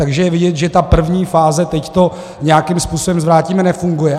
Takže je vidět, že ta první fáze, teď to nějakým způsobem zvrátíme, nefunguje.